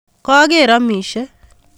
Koker omishe